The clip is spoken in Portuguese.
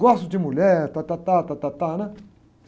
Gosto de mulher, tátátá, tátátá, né?